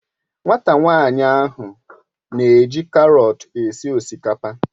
Nwata nwanyi ahu n'eji karọt esi osikapa.